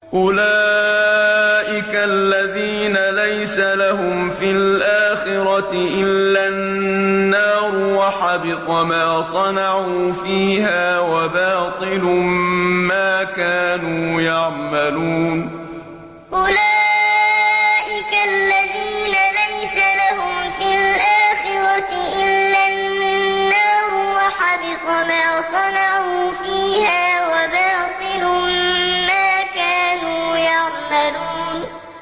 أُولَٰئِكَ الَّذِينَ لَيْسَ لَهُمْ فِي الْآخِرَةِ إِلَّا النَّارُ ۖ وَحَبِطَ مَا صَنَعُوا فِيهَا وَبَاطِلٌ مَّا كَانُوا يَعْمَلُونَ أُولَٰئِكَ الَّذِينَ لَيْسَ لَهُمْ فِي الْآخِرَةِ إِلَّا النَّارُ ۖ وَحَبِطَ مَا صَنَعُوا فِيهَا وَبَاطِلٌ مَّا كَانُوا يَعْمَلُونَ